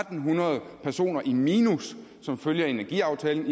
hundrede personer i minus som følge af energiaftalen